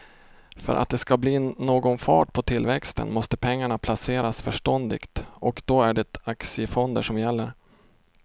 För att det ska bli någon fart på tillväxten måste pengarna placeras förståndigt och då är det aktiefonder som gäller.